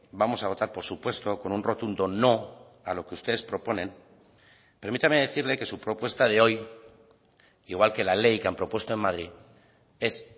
vamos a votar por supuesto con un rotundo no a lo que ustedes proponen permítame decirle que su propuesta de hoy igual que la ley que han propuesto en madrid es